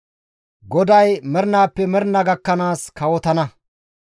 GODAY mernaappe mernaa gakkanaas kawotana.»